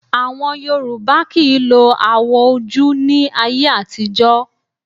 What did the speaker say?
Àwọn Yorùbá kì í lo awò ojú ní ayé àtijọ́